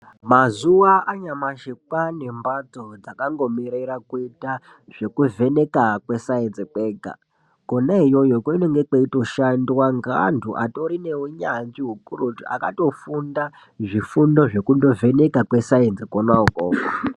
Mazuva anyamashi kwaanembatso dzakangomirira kuita zvekuvheneka kwesainzi kwega. Kona iyoyo kunenge kweitoshandwa ngeantu atori neunyanzvi hukurutu, akatofunda zvifundo zvekundovheneka kwesainzi kona ukoko